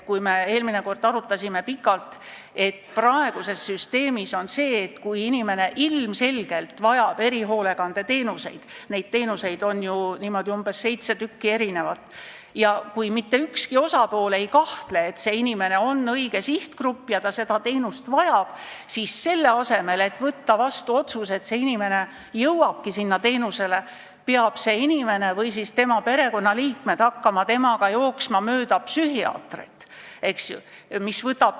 Me eelmine kord arutasime pikalt, et praeguses süsteemis on nii, et kui inimene ilmselgelt vajab erihoolekandeteenuseid – neid teenuseid on ju umbes seitse – ja mitte ükski osapool ei kahtle, et see inimene kuulub sihtgruppi ja ta seda teenust vajab, siis selle asemel, et võtta vastu otsus, et see inimene hakkabki seda teenust saama, peab see inimene või peavad tema perekonnaliikmed koos temaga hakkama jooksma mööda psühhiaatreid.